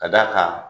Ka d'a kan